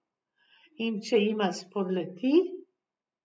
In če jima spodleti?